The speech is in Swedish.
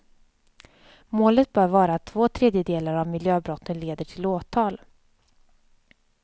Målet bör vara att två tredjedelar av miljöbrotten leder till åtal.